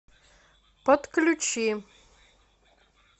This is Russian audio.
подключи